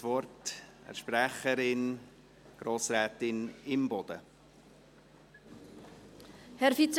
Ich gebe der Kommissionssprecherin, Grossrätin Imboden, das Wort.